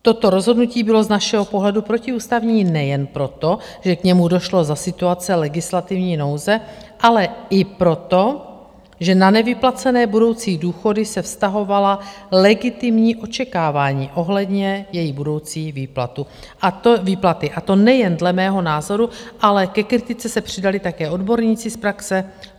Toto rozhodnutí bylo z našeho pohledu protiústavní nejen proto, že k němu došlo za situace legislativní nouze, ale i proto, že na nevyplacené budoucí důchody se vztahovala legitimní očekávání ohledně její budoucí výplaty, a to nejen dle mého názoru, ale ke kritice se přidali také odborníci z praxe.